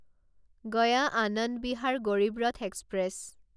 Gaya Anand Vihar Garib Rath express